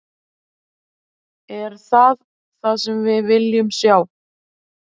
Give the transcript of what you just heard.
Er það það sem við viljum sjá?